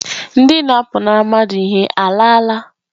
Ndị na-apụnara mmadụ ihe alaala?